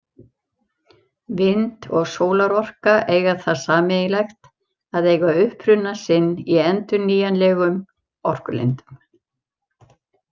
Vind- og sólarorka eiga það sameiginlegt að eiga uppruna sinn í endurnýjanlegum orkulindum.